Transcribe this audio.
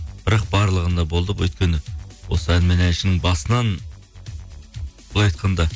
бірақ барлығында болдық өйткені осы ән мен әншінің басынан былай айтқанда